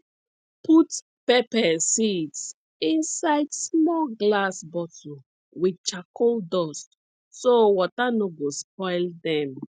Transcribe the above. put pepper seeds inside small glass bottle with charcoal dust so water no go spoil dem